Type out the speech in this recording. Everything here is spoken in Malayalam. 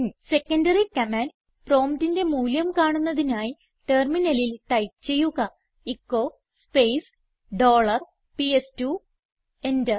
സെക്കൻഡറി കമാൻഡ് പ്രോംപ്റ്റിന്റെ മൂല്യം കാണുന്നതിനായി ടെർമിനലിൽ ടൈപ്പ് ചെയ്യുക echo space dollar PS two enter